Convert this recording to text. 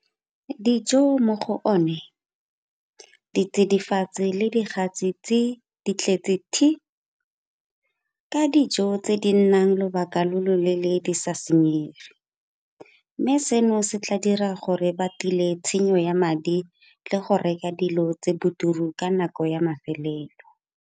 Dijo mo go one, ditsidifatsi le digatse tsi di tletse thi! ka dijo tse di nnang lobaka lo lo leele di sa senyege, mme seno se tla dira gore ba tile tshenyo ya madi le go reka dilo tse di boturu ka nako ya mafelelo.